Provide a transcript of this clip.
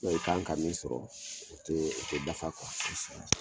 u bɛn i kan ka min sɔrɔ o te dafa kuwa